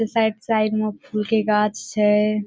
Side side में फूल के गाछ छे।